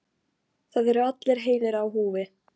Það eru allir heilir á húfi.